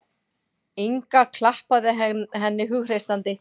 Inga klappaði henni hughreystandi.